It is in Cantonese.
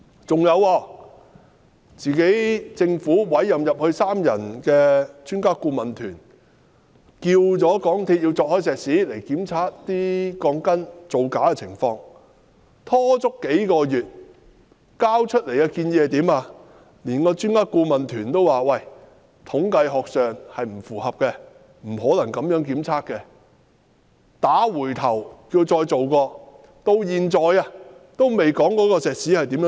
此外，政府委任的三人專家顧問團要求港鐵公司鑿開石屎檢查鋼筋造假的情況，但港鐵公司拖延數月後交出來的建議，專家顧問團說不符合統計學，不可能這樣檢測，將該建議退回港鐵公司要求重做。